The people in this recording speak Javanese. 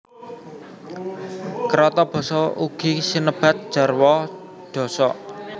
Kérata basa ugi sinebat jarwa dhosok